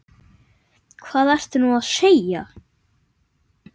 Hvað ertu nú að segja?